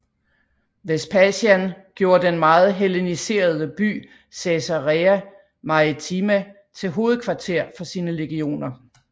Vespasian gjorde den meget helleniserede by Caesarea Maritima til hovedkvarter for sine legioner